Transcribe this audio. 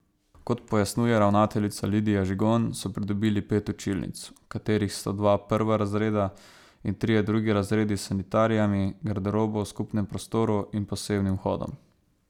Kot pojasnjuje ravnateljica Lidija Žigon, so pridobili pet učilnic, v katerih so dva prva razreda in trije drugi razredi s sanitarijami, garderobo v skupnem prostoru in posebnim vhodom.